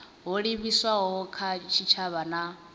ho livhiswaho kha tshitshavha na